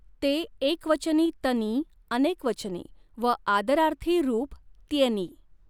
ते एकवचनी तनीऽऽ अनेकवचनी व आदरार्थी रूप त्येनी.